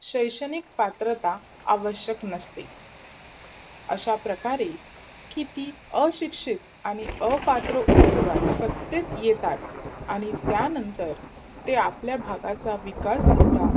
शैक्षणिक पात्रता आवश्यक नसते अशाप्रकारे किती अशिक्षित, अपात्र उमेदवार सत्तेत येतात आणि त्यानंतर ते आपल्या भागाचा विकास सुद्धा